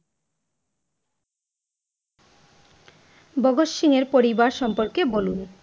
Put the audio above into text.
ভাগত সিংহের পরিবার সম্বন্ধে বলুন?